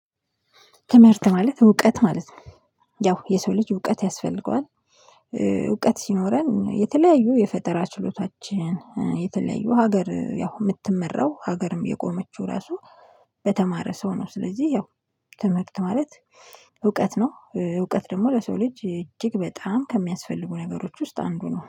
ትምህርት ማለት እውቀት ማለት ነው። ያው የሰው ልጅ እውቀት ያስፈልገዋል። እውቀት ሲኖረን የተለያዩ የፈጠራ ችሎታችን የተለያዩ ሀገር ያው የምትመራው ሀገርም የቆመችው ራሱ በተማረ ሰው ነው። ስለዚህ ያው ትምህርት ማለት እውቀት ነው። እውቀት ደግሞ ለሰው ልጅ እጅግ በጣም ከሚያስፈልጉ ነገሮች ውስጥ አንዱ ነው።